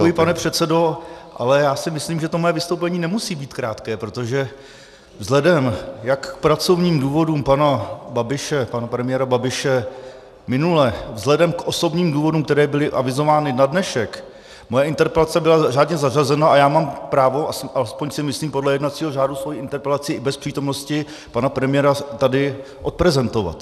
Děkuji, pane předsedo, ale já si myslím, že to moje vystoupení nemusí být krátké, protože vzhledem jak k pracovním důvodům pana premiéra Babiše minule, vzhledem k osobním důvodům, které byly avizovány na dnešek, moje interpelace byla řádně zařazena a já mám právo, alespoň si myslím, podle jednacího řádu svoji interpelaci i bez přítomnosti pana premiéra tady odprezentovat.